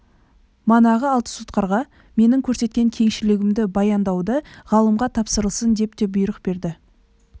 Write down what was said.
манағы алты сотқарға менің көрсеткен кеңшілігімді баяндапты ғалымға тапсырылсын деп те бұйрық берді